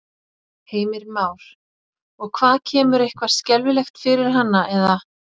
Heimir Már: Og hvað kemur eitthvað skelfilegt fyrir hana eða?